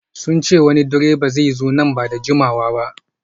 Sun ce wani direban zai zo nan ba da jimawa ba